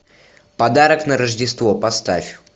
подарок на рождество поставь